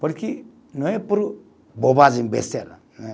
Porque não é por bobagem, besteira.